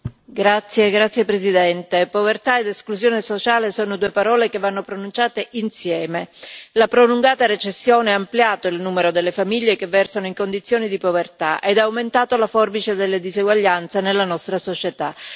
Signora Presidente, onorevoli colleghi, povertà ed esclusione sociale sono due parole che vanno pronunciate insieme. La prolungata recessione ha ampliato il numero delle famiglie che versano in condizioni di povertà ed ha aumentato la forbice delle diseguaglianze nella nostra società.